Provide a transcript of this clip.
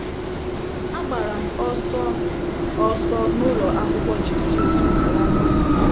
Agbara m ọsọ m ọsọ n'ụlọ akwụkwọ Jesuit ma laa n'ụlọ m.